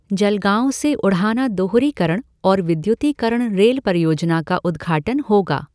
जलगांव से उढ़ाना दोहरीकरण और विद्युतीकरण रेल परियोजना का उद्घाटन होगा